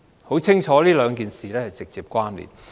很清楚，兩件事是直接關連的。